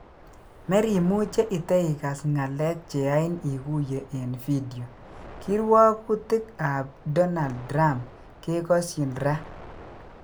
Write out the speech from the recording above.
Merimuche iteikas ngalek cheyain ikuye en video ,Kirwogutik ab Dornald Trump kekosyin raa